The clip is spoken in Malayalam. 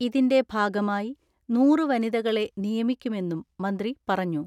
ഇതിന്റെ ഭാഗമായി നൂറ് വനിതകളെ നിയമിക്കുമെന്നും മന്ത്രി പറഞ്ഞു.